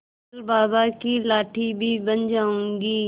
कल बाबा की लाठी भी बन जाऊंगी